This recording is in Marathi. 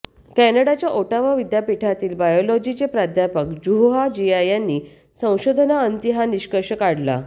कॅनडाच्या ओटावा विद्यापीठातील बायोलॉजीचे प्राध्यापक जुहूआ जिया यांनी संशोधनाअंती हा निष्कर्ष काढला